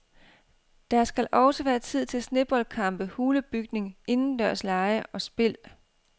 Der skal også være tid til sneboldkampe, hulebygning, indendørslege og spil.